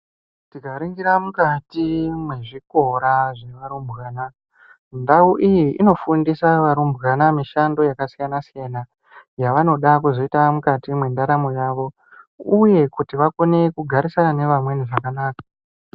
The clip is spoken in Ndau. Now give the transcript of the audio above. Tikaringira mukati mezvikora zvearumbwana, ndau iyi inofundisa varumbwana mishando yakasiyana-siyana yavanoda kuzoita mukati mendaramo yavo, uye kuti vakone kugarisana nevamweni zvakanaka.